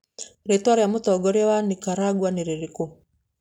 Rĩĩtwa rĩa mũtongoria wa Nicaragua nĩ rĩrĩkũ?